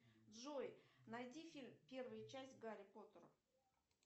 джой найди фильм первая часть гарри поттера